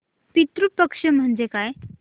पितृ पक्ष म्हणजे काय